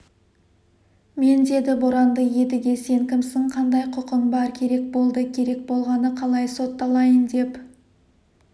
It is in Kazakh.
мен деді боранды едіге сен кімсің қандай құқың бар керек болды керек болғаны қалай сотталайын деп